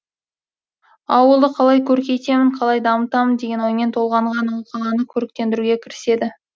ауылды қалай көркейтемін қалай дамытамын деген оймен толғанған ол қаланы көріктендіруге кіріседі